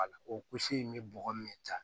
Wala o in bɛ bɔgɔ min ta